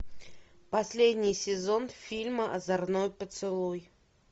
последний сезон фильма озорной поцелуй